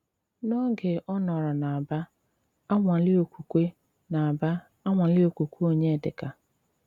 N’óge ọ́ nọ́rò n’Ábà, anwa-lị okwùkwé n’Ábà, anwa-lị okwùkwé Ọnyédíkà’